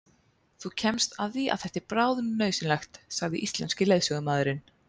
Þú kemst að því að þetta er bráðnauðsynlegt, sagði íslenski leiðsögumaðurinn.